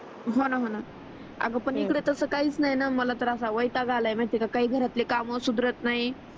होण होना आग पण इकडे तस काहीच नाहीन मला तर असा वैताग आला आहे न काही घरातले काम सुधरत नाही